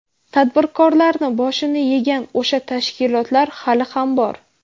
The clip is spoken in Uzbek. Tadbirkorlarni boshini yegan o‘sha tashkilotlar hali ham bor.